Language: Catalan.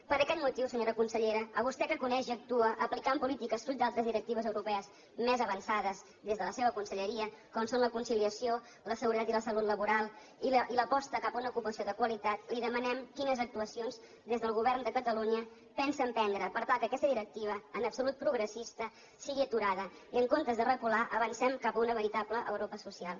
per aquest motiu senyora consellera a vostè que coneix i actua aplicant polítiques fruit d’altres directives europees més avançades des de la seva conselleria com són la conciliació la seguretat i la salut laboral i l’aposta cap a una ocupació de qualitat li demanem quines actuacions des del govern de catalunya pensa emprendre per tal que aquesta directiva en absolut progressista sigui aturada i en comptes de recular avancem cap a una veritable europa social